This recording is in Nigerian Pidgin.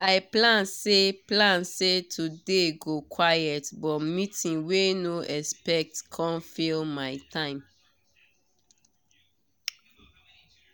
i plan say plan say today go quiet but meeting wey no expect come fill my time